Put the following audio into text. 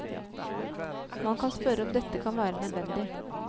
Man kan spørre om dette kan være nødvendig.